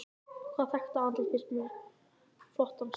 Hvaða þekkta andlit finnst þér með flottan stíl?